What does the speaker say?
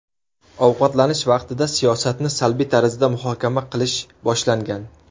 Ovqatlanish vaqtida siyosatni salbiy tarzda muhokama qilish boshlangan.